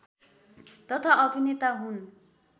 तथा अभिनेता हुन्